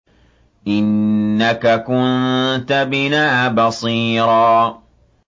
إِنَّكَ كُنتَ بِنَا بَصِيرًا